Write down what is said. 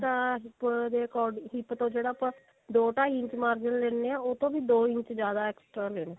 ਤਾਂ hip ਦੇ ਅਕੋ hip ਤੋਂ ਜਿਹੜਾ ਆਪਾਂ ਦੋ ਢਾਈ ਇੰਚ ਮਾਰਜਨ ਲੀਨੇ ਆਂ ਉਹ ਤੋਂ ਵੀ ਦੋ ਇੰਚ ਜਿਆਦਾ extra ਲੈਲੋ